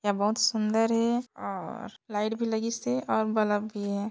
यह बहुत सुंदर हे और लाइट भी लगिसे और बलब भी हे।